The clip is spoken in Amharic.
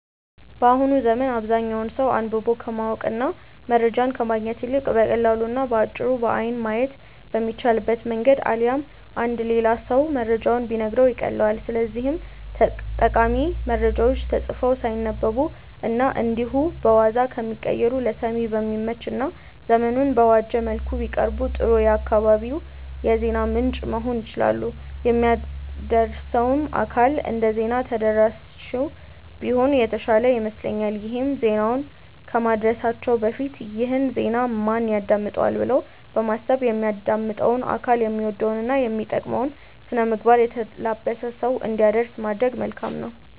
በአሁኑ ዘመን አብዛኛው ሰው አንብቦ ከማወቅ እና መረጃን ከማግኘት ይልቅ በቀላሉ እና በአጭሩ በአይን ማየት በሚቻልበት መንገድ አሊያም አንድ ሌላ ሰው መረጃውን ቢነግረው ይቀልለዋል። ስለዚህም ጠቃሚ መረጃዎች ተጽፈው ሳይነበቡ እና እንዲሁ በዋዛ ከሚቀሩ ለሰሚ በሚመች እና ዘመኑን በዋጀ መልኩ ቢቀርቡ ጥሩ የአካባቢው የዜና ምንጭ መሆን ይችላሉ። የሚያደርሰውም አካል እንደዜና ተደራሲው ቢሆን የተሻለ ይመስለኛል ይሄም ዜናውን ከማድረሳችን በፊት "ይህን ዜና ማን ያዳምጠዋል?'' ብሎ በማሰብ የሚያዳምጠው አካል የሚወደውን እና የሚመጥነውን ስነምግባር የተላበሰ ሰው እንዲያደርስ ማድረግ መልካም ነው።